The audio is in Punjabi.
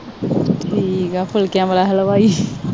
ਠੀਕ ਹੈ ਫੁਲਕਿਆਂ ਵਾਲਾ ਹਲਵਾਈ